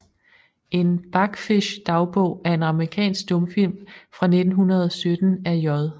En Bachfischs Dagbog er en amerikansk stumfilm fra 1917 af J